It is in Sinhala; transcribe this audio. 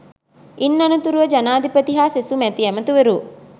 ඉන් අනතුරුව ජනාධිපති හා සෙසු මැති ඇමැතිවරු